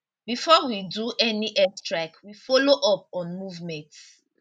bifor we do any airstrike we follow up on movements